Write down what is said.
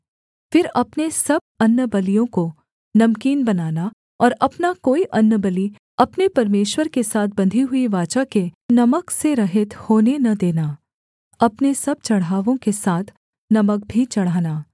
फिर अपने सब अन्नबलियों को नमकीन बनाना और अपना कोई अन्नबलि अपने परमेश्वर के साथ बंधी हुई वाचा के नमक से रहित होने न देना अपने सब चढ़ावों के साथ नमक भी चढ़ाना